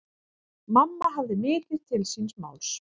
Mamma hafði mikið til síns máls.